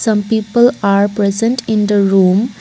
some people are present in the room.